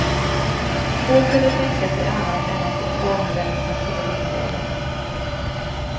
Få kunde tänka sig annat än att reformvännerna skulle vinna valet.